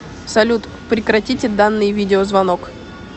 салют прекратите данный видеозвонок